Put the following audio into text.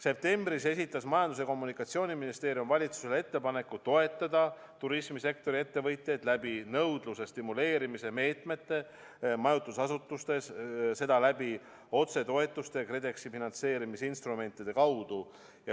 Septembris esitas Majandus- ja Kommunikatsiooniministeerium valitsusele ettepaneku toetada turismisektori ettevõtjaid nõudluse stimuleerimise meetmetega majutusasutustes, seda otsetoetuste ja KredExi finantseerimisinstrumentide kaudu.